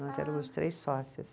Nós éramos três sócias.